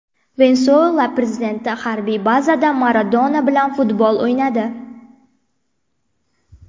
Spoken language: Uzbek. Venesuela prezidenti harbiy bazada Maradona bilan futbol o‘ynadi.